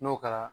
N'o kɛra